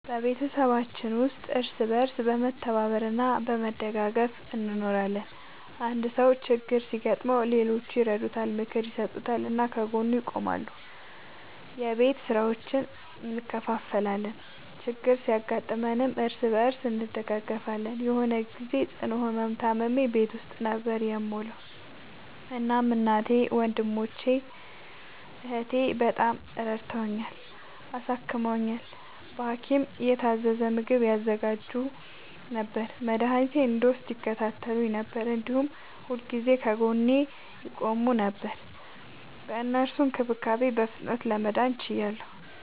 በቤተሰባችን ውስጥ እርስ በርስ በመተባበር እና በመደጋገፍ እንኖራለን። አንድ ሰው ችግር ሲያጋጥመው ሌሎቹ ይረዱታል፣ ምክር ይሰጡታል እና ከጎኑ ይቆማሉ። የቤት ስራዎችን እንከፋፈላለን፣ ችግር ሲያጋጥምም እርስ በርስ እንደጋገፋለን። የሆነ ግዜ ጽኑ ህመም ታምሜ ቤት ውስጥ ነበር የምዉለዉ። እናም እናቴ፣ ወንድሜ፣ እህቴ፣ በጣም ረድተዉኛል፣ አሳክመዉኛል። በሀኪም የታዘዘ ምግብ ያዘጋጁ ነበር፣ መድኃኒቴን እንድወስድ ይከታተሉኝ ነበር፣ እንዲሁም ሁልጊዜ ከጎኔ ይቆሙ ነበር። በእነሱ እንክብካቤ በፍጥነት ለመዳን ችያለሁ።